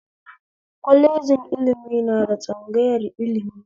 Kwalejin ilimi na da tsangayar ilimi